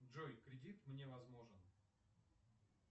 джой кредит мне возможен